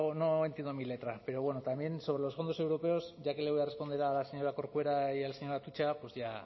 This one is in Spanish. no entiendo mi letra pero bueno también sobre los fondos europeos ya que le voy a responder a la señora corcuera y al señor atutxa pues ya